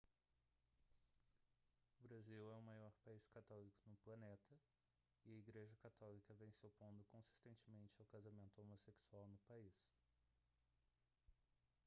o brasil é o maior país católico no planeta e a igreja católica vem se opondo consistentemente ao casamento homossexual no país